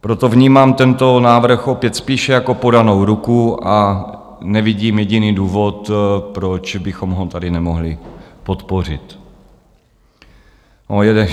Proto vnímám tento návrh opět spíše jako podanou ruku a nevidím jediný důvod, proč bychom ho tady nemohli podpořit.